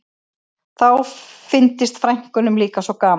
Þá fyndist frænkunum líka svo gaman